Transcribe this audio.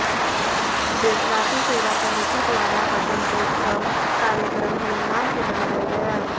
बृजवासी सेवा समिति द्वारा वसंतोत्सव कार्यक्रम धूमधाम से मनाया गया